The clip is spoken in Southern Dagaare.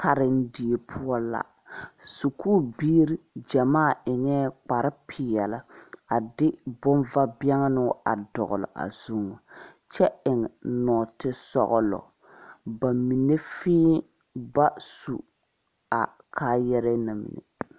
Karendie poɔ la sakuubiiri gyamaa eŋɛɛ kpare peɛle a de bomvabɛnnoŋ a dɔgle a zu kyɛ eŋ nɔɔtesɔglɔ ba mine fee ba su a kaayare na mine.